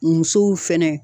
Musow fɛnɛ.